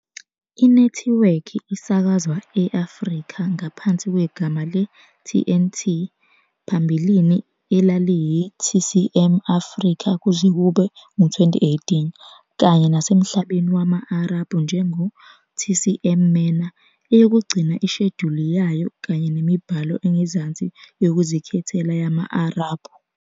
Inethiwekhi isakazwa e- Afrika ngaphansi kwegama le-TNT, phambilini elaliyi- TCM Africa kuze kube ngu-2018, kanye nasemhlabeni wama-Arabhu njengo- TCM MENA, eyokugcina inesheduli yayo kanye nemibhalo engezansi yokuzikhethela yama-Arabhu.